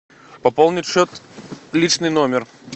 пополнить счет личный номер